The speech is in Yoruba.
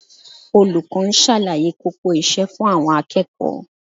Olùkọ́ ń ṣàlàyé kókó iṣẹ́ fún àwọn akẹ́kọ̀ọ́